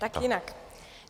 Tak jinak.